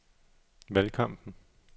valgkampen